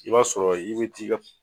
I b'a sɔrɔ i be t'i ka